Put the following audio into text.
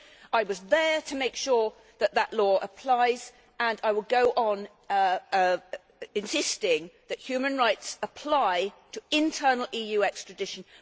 I was there to make sure that this law applies and I will go on insisting that human rights apply to internal EU extradition.